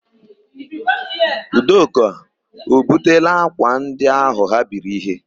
Udoka o butela ákwà ndị áhụ̀ ha biri íhé?